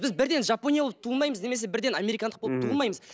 біз бірден жапония болып туылмаймыз немесе бірден американдық болып туылмаймыз